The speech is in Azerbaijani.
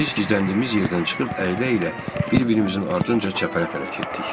Biz gizləndiyimiz yerdən çıxıb əylə-əylə bir-birimizin ardınca çəpərə tərəf getdik.